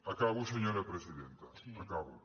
acabo senyora presidenta acabo